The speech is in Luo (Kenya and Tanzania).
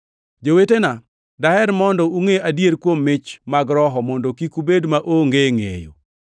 Jowetena, daher mondo ungʼe adiera kuom mich mag Roho mondo kik ubed maonge ngʼeyo.